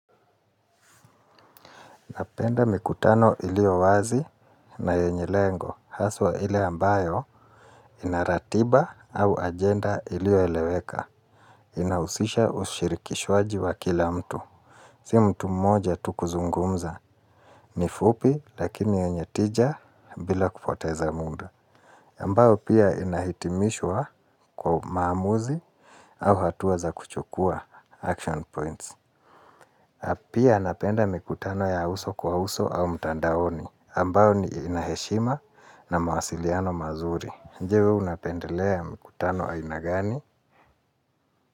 Napenda mikutano iliyowazi na yenye lengo. Haswa ile ambayo inaratiba au agenda iliyoeleweka. Inausisha ushirikishwaji wa kila mtu. Si mtu mmoja tu kuzungumza. Ni fupi lakini yenye tija bila kupoteza munda. Ambayo pia inahitimishwa kwa maamuzi au hatua za kuchukua action points. Apia napenda mikutano ya uso kwa uso au mtandaoni ambao ni inaheshima na mawasiliano mazuri. Nje we unapendelea mikutano ainagani?